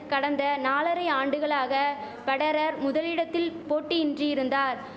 கடந்த நாலரை ஆண்டுகளாக பெடரர் முதலிடத்தில் போட்டியின்றி இருந்தார்